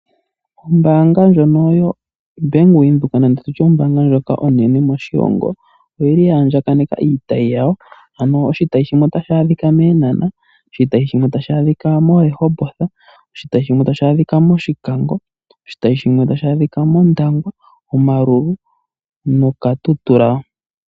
Ombaanga ndjono yoBank Windhoek oya andjaganeka iitayi yawo, ano oshitayi shimwe otashi adhika mEenhana, Rehoboth, mOshikango, mOndangwa nomoKatutura